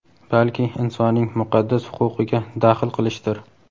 balki insonning muqaddas huquqiga daxl qilishdir.